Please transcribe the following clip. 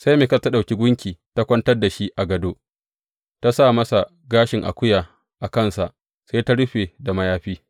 Sai Mikal ta ɗauki gunki ta kwantar da shi a gādo, ta sa masa gashin akuya a kansa, sai ta rufe da mayafi.